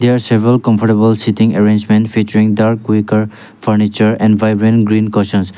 there are several comfortable sitting arrangement featuring dark furniture and vibrant green cushions.